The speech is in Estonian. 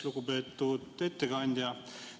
Lugupeetud ettekandja!